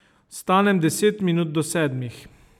Vstanem deset minut do sedmih.